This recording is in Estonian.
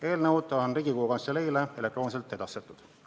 Eelnõud on Riigikogu Kantseleile elektrooniliselt edastatud.